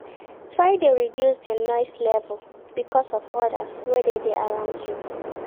Try de reduce di noise level because of others wey de around you